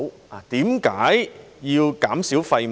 為何要減少廢物？